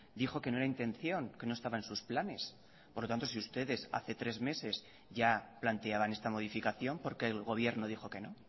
dijo que no era intención que no estaba en sus planes por lo tanto si ustedes hace tres meses ya planteaban esta modificación por qué el gobierno dijo que no